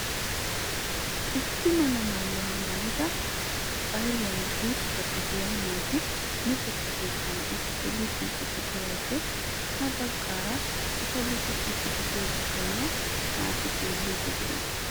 Issi mala maayuwaa maayida bariyaan gutta gidiyaa naati luxetta keettan uttidi luxiidi de'iyoode ha baggaara eta luxxisiidi de'iyaa bitaniyaa naati xeelliidi de'ees.